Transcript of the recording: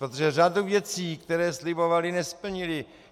Protože řadu věcí, které slibovali, nesplnili.